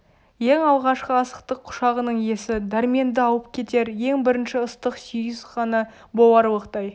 ең алғашқы асықтық құшағының есі дәрменді алып кетер ең бірінші ыстық сүйіс ғана боларлықтай